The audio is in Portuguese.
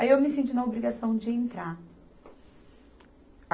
Aí eu me senti na obrigação de entrar.